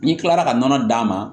N'i kilara ka nɔnɔ d'a ma